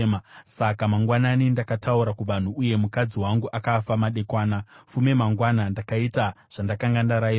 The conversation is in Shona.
Saka mangwanani ndakataura kuvanhu, uye mukadzi wangu akafa madekwana. Fume mangwana, ndakaita zvandakanga ndarayirwa.